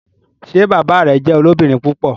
Ṣe bàbá rẹ jẹ olobirin púpọ?